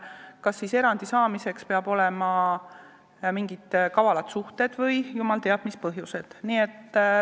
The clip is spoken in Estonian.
Kas erandi saamiseks peavad olema mingid kavalad suhted või jumal teab mis põhjused?